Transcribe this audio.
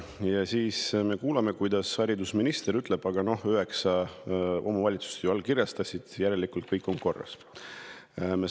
Ja siis me kuuleme, kuidas haridusminister ütleb, et 9 omavalitsust ju allkirjastas, järelikult on kõik korras.